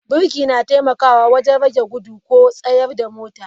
Birki na taimakawa wajen rage gudu ko tsayar da motar.